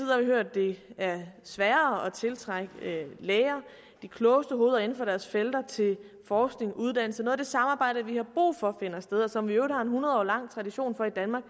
det er sværere at tiltrække læger de klogeste hoveder inden for deres felter til forskning uddannelse og det samarbejde vi har brug for finder sted og som vi i øvrigt har en hundredårig lang tradition for i danmark